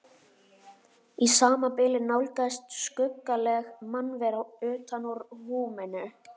Í sama bili nálgaðist skuggaleg mannvera utan úr húminu.